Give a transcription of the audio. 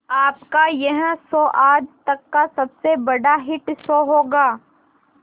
आपका यह शो आज तक का सबसे बड़ा हिट शो होगा